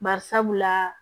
Bari sabula